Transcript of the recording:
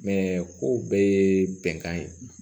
Mɛ kow bɛɛ ye bɛnkan ye